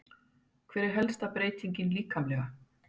Hver er helsta breytingin líkamlega?